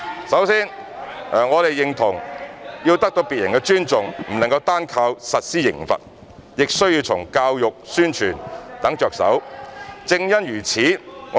首先，我們認同要得到別人的尊重，不能單靠實施刑罰，亦要從教育、宣傳等着手，正因如此......